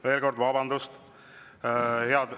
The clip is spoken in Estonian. Veel kord: vabandust!